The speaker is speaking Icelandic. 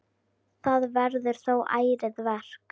Það verður þó ærið verk.